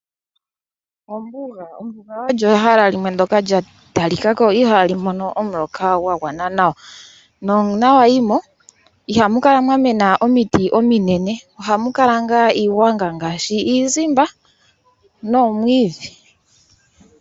Ombuga olyo ehala limwe ndyoka lya tali kako ihaali mono omuloka gwa gwana nawa, nuuna wa yimo, ihamu kala mwa mena omiti ominene, ohamu kala ngaa iigwanga ngaashi iizimba noomwiidhi.